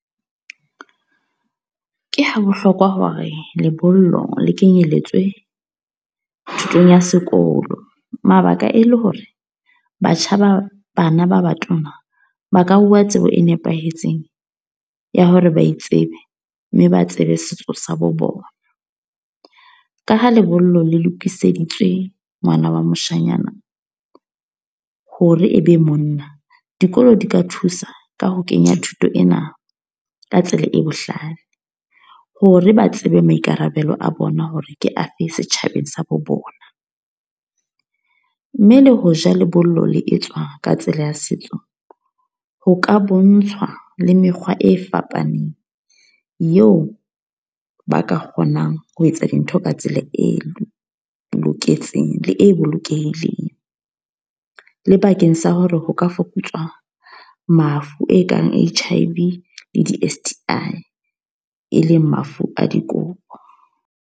Ke ha bohlokwa hore lebollo le kenyelletswe thutong ya sekolo. Mabaka e le hore batjha ba bana ba batona, ba ka bua tsebo e nepahetseng. Ya hore ba itsebe, mme ba tsebe setso sa bo bona. Ka ha lebollo le lokiseditswe ngwana wa moshanyana, hore e be monna. Dikolo di ka thusa ka ho kenya thuto ena ka tsela e bohlale. Hore ba tsebe maikarabelo a bona hore ke afeng, setjhabeng sa bo bona. Mme le hoja lebollo le etswa ka tsela ya setso, ho ka bontshwa le mekgwa e fapaneng eo ba ka kgonang ho etsa dintho ka tsela e loketseng, le e bolokehileng. Le bakeng sa hore ho ka fokotsa mafu e kang H_I_V le di-S_T_I e leng mafu a dikobo.